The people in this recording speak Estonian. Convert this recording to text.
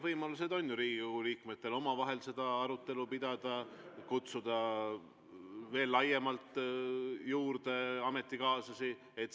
Riigikogu liikmetel on ju võimalus omavahel seda arutelu pidada, kutsuda veel laiemalt juurde ametikaaslasi.